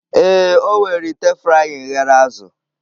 Ee, o were ite frying ghere azụ